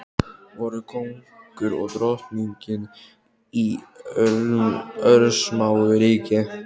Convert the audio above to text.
Voru kóngur og drottning í örsmáu ríki.